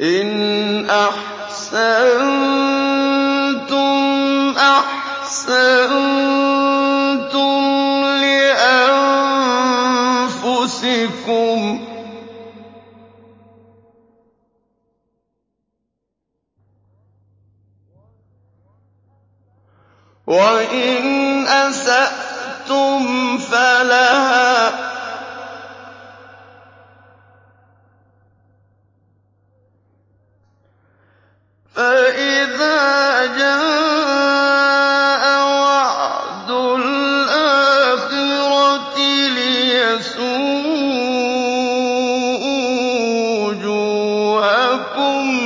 إِنْ أَحْسَنتُمْ أَحْسَنتُمْ لِأَنفُسِكُمْ ۖ وَإِنْ أَسَأْتُمْ فَلَهَا ۚ فَإِذَا جَاءَ وَعْدُ الْآخِرَةِ لِيَسُوءُوا وُجُوهَكُمْ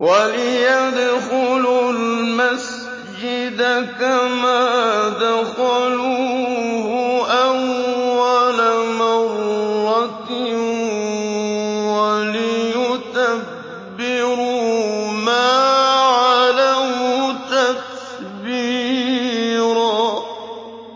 وَلِيَدْخُلُوا الْمَسْجِدَ كَمَا دَخَلُوهُ أَوَّلَ مَرَّةٍ وَلِيُتَبِّرُوا مَا عَلَوْا تَتْبِيرًا